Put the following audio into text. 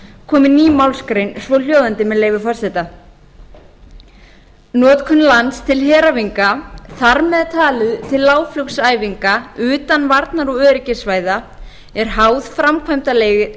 komi ný málsgrein svohljóðandi með leyfi forseta notkun lands til heræfinga þar með talið til lágflugsæfinga utan varnar og öryggissvæða er háð framkvæmdaleyfi